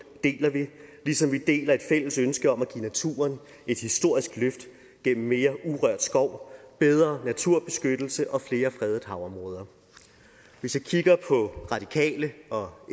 deler vi ligesom vi deler et fælles ønske om at give naturen et historisk løft gennem mere urørt skov bedre naturbeskyttelse og flere fredede havområder hvis jeg kigger på radikale og